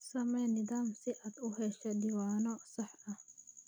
Samee nidaam si aad u hesho diiwaanno sax ah.